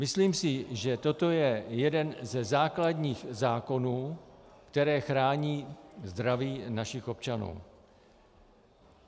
Myslím si, že toto je jeden ze základních zákonů, které chrání zdraví našich občanů.